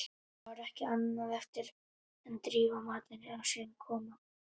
Þá var ekki annað eftir en drífa matinn í sig og koma sér heim.